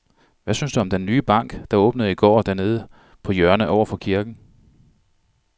Hvad synes du om den nye bank, der åbnede i går dernede på hjørnet over for kirken?